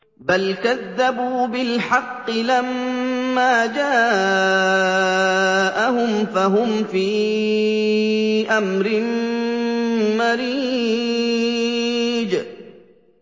بَلْ كَذَّبُوا بِالْحَقِّ لَمَّا جَاءَهُمْ فَهُمْ فِي أَمْرٍ مَّرِيجٍ